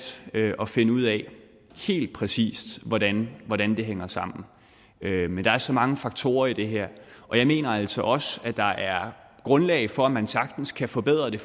at finde ud af helt præcis hvordan hvordan det hænger sammen men der er så mange faktorer i det her og jeg mener altså også at der er grundlag for at man sagtens kan forbedre det